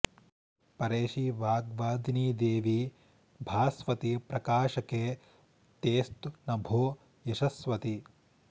परेशि वाग्वादिनि देवि भास्वति प्रकाशके तेऽस्तु नभो यशस्वति